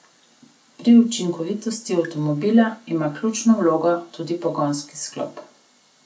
Pri učinkovitosti avtomobila ima ključno vlogo tudi pogonski sklop.